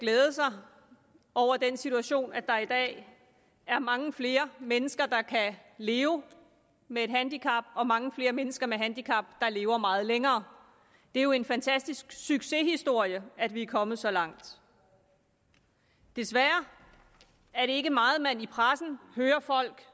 glæde sig over den situation at der i dag er mange flere mennesker der kan leve med et handicap og mange flere mennesker med et handicap der lever meget længere det er jo en fantastisk succeshistorie at vi er kommet så langt desværre er det ikke meget man i pressen hører folk